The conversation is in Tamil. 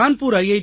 கான்பூர் ஐ